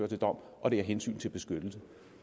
til dom og det er af hensyn til beskyttelsen